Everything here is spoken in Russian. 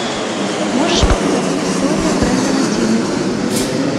можешь показать история брэндона тины